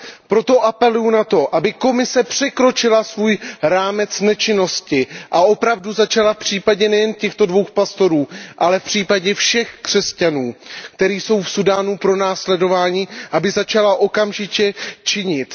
Proto apeluju na to, aby Komise překročila svůj rámec nečinnosti a opravdu začala nejen v případě těchto dvou pastorů, ale v případě všech křesťanů, kteří jsou v Súdánu pronásledováni, okamžitě činit.